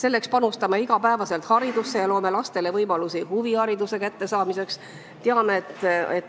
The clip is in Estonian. Me panustame iga päev haridusse ja loome lastele võimalusi huvihariduse saamiseks.